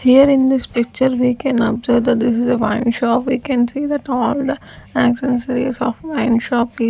here in this picture we can observe that this is a wine shop we can see that all the accessories of wine shop.